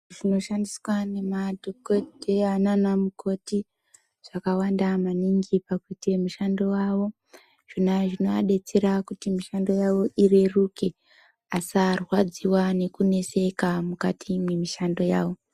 Zvinoshandiswa nemadhokodheya nana mukoti zvakawanda maningi pakuti mishando yawo zvona zvinovadetsera kuti mishando yawo ireruke asarwadziwa nekuneseka mukati nemishando yawo.